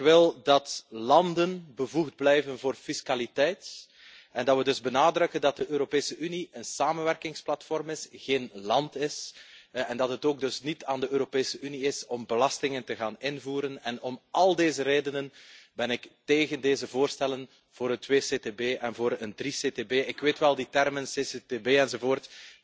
Ik wil dat landen bevoegd blijven voor fiscaliteit en dat we dus benadrukken dat de Europese Unie een samenwerkingsplatform en geen land is, en dat het ook dus niet aan de Europese Unie is om belastingen in te voeren. Om al deze redenen ben ik tegen deze voorstellen voor het CCTB en voor een CCCTB. Ik weet wel dat die termen, CCTB enzovoort,